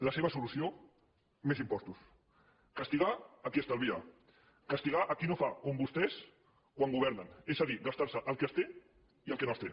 la seva solució més impostos castigar a qui estalvia castigar a qui no fa com vostès quan governen és a dir gastar se el que es té i el que no es té